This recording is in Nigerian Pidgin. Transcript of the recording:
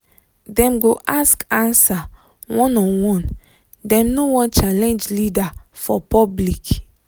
dem go ask answer one on one dem no wan challenge leader for public